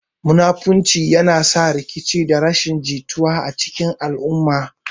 Munafurci yana sa rikici da rashin jituwa a cikin al'umma.